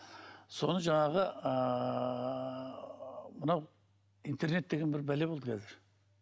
соны жаңағы ыыы мынау интернет деген бір бәле болды қазір